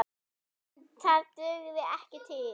En það dugði ekki til.